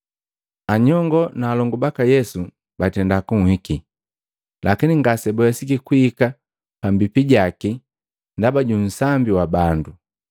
Anyongo na alongu baka Yesu batenda kunhiki, lakini ngasebawesiki kuhika pambipi jaki ndaba ju nsambi wa bandu.